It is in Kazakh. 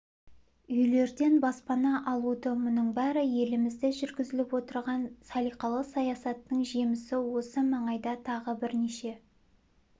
үйлерден баспана алуда мұның бәрі елімізде жүргізіліп отырған салиқалы саясаттың жемісі осы маңайда тағы бірнеше